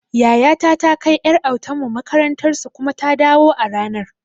Yayata ta kai ƴar autan mu makarantar su kuma ta dawo a ranan